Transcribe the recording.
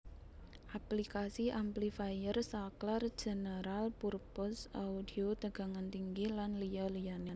Aplikasi Amplifier Saklar General Purpose Audio Tegangan Tinggi lan liya liyane